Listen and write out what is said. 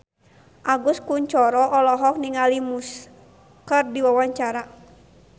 Agus Kuncoro olohok ningali Muse keur diwawancara